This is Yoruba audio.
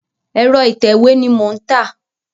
Ẹ̀rọ ìtẹ̀wé ni mò ń tà.